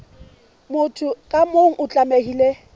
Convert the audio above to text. motho ka mong o tlamehile